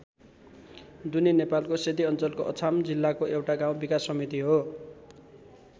दुनी नेपालको सेती अञ्चलको अछाम जिल्लाको एउटा गाउँ विकास समिति हो।